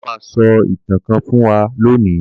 Bàbá má so ìtàn kán fún wan lóni.